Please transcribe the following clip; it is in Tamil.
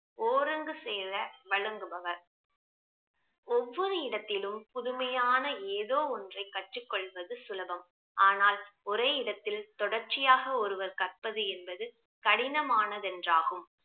ஒருங்கு சேர வழங்குபவர் ஒவ்வொரு இடத்திலும் புதுமையான ஏதோ ஒன்றை கற்றுக் கொள்வது சுலபம் ஆனால் ஒரே இடத்தில் தொடர்ச்சியாக ஒருவர் கற்பது என்பது கடினமானது என்றாகும்